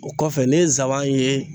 O kɔfɛ ne ye n saban ye.